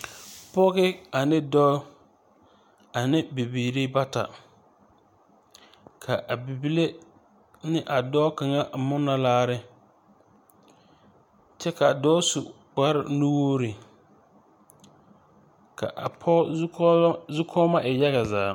Pɔge ane dɔɔ ane bibiire bata ka a bibile ne a dɔɔ kaŋa a munnɔ laare kyɛ kaa dɔɔ su kparenuure ka a pɔge zukɔɔlɔ zukɔɔmɔ e yaga zaa.